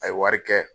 A ye wari kɛ